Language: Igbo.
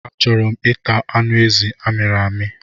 A chọrọ m ịta anụ ezi a miri n'ọkụ.